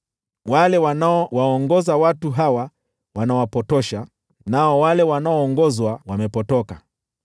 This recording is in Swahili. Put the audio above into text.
Wale wanaowaongoza watu hawa wanawapotosha, nao wale wanaoongozwa wamepotoka.